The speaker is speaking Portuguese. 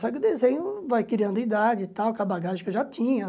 Só que o desenho vai criando idade e tal, com a bagagem que eu já tinha.